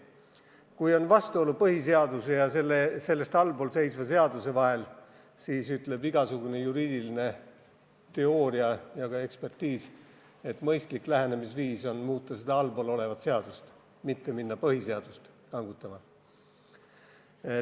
Kui on vastuolu põhiseaduse ja sellest allpool seisva seaduse vahel, siis ütleb igasugune juriidiline teooria ja ka ekspertiis, et mõistlik lähenemisviis on muuta allpool olevat seadust, mitte minna põhiseadust kangutama.